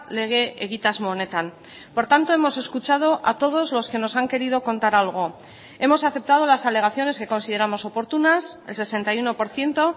lege egitasmo honetan por tanto hemos escuchado a todos los que nos han querido contar algo hemos aceptado las alegaciones que consideramos oportunas el sesenta y uno por ciento